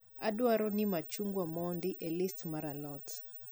Adwaro ni machungwa emodi e listi mar a lot